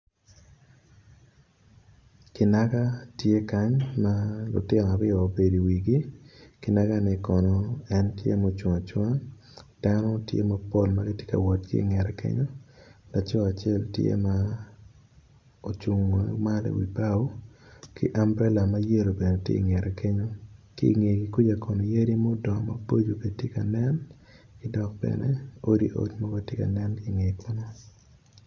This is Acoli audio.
Kinaga tye ma lutino aryo gubedo i wigi. Kinaga man ocung acunga dano tye mapol ma tye ka wot ki i ngete acel tye ma ocung ki ambrela ma yelo bene tye ki i ngete kenyu. Ki i ngeye kuca yadi tye ma dongo dok bene odiodi tye ki i ngete.